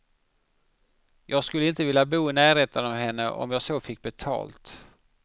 Jag skulle inte vilja bo i närheten av henne om jag så fick betalt.